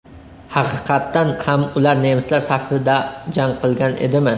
Haqiqatan ham ular nemislar safida jang qilgan edimi?